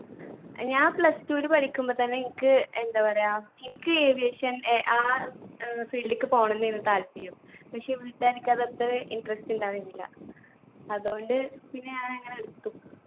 ഞാൻ plus two ല് പഠിക്കുമ്പത്തന്നെ എനിക്ക് എന്താ പറയാ എനിക്ക് aviation ഏർ ആ ഏർ field ക്ക് പോണംന്നായിനു താല്പര്യം. പക്ഷെ വീട്ട്കാർക്ക് അത് അത്ര interest ഇണ്ടായിരിന്നില്ല അതോണ്ട് പിന്നെ ഞാൻ അങ്ങനെ എടുത്തു